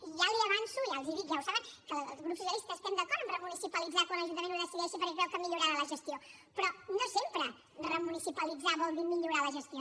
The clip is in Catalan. i ja li avanço ja els dic ja ho saben que el grup socialista estem d’acord en remunicipalitzar quan l’ajuntament ho decideixi perquè creu que millorarà la gestió però no sempre remunicipalitzar vol dir millorar la gestió